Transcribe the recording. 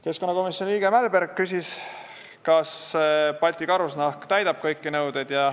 Keskkonnakomisjoni liige Mälberg küsis, kas Balti Karusnahk täidab kõiki nõudeid.